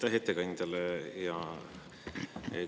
Aitäh ettekandjale!